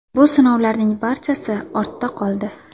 Bu sinovlarning barchasi ortda qoldi.